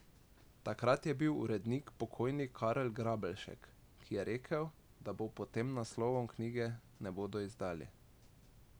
Takrat je bil urednik pokojni Karel Grabeljšek, ki je rekel, da pod tem naslovom knjige ne bodo izdali.